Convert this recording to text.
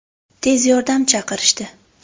Tez yordam chaqirishdi.